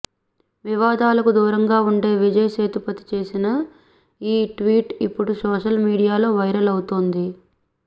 వివాదాలకు దూరంగా ఉండే విజయ్ సేతుపతి చేసిన ఈ ట్వీట్ ఇప్పుడు సోషల్ మీడియాలో వైరల్ అవుతోంది